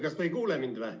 Kas te ei kuule mind?